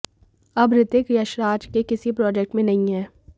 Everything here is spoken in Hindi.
अब ऋतिक यशराज के किसी प्रोजेक्ट में नहीं हैं